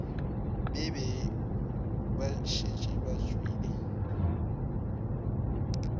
be ba šetše ba tšwele